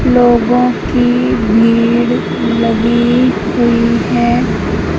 लोगों की भीड़ लगी हुई है।